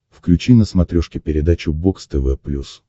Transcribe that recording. включи на смотрешке передачу бокс тв плюс